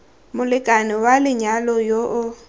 molekane wa lenyalo yo o